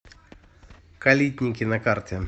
калитники на карте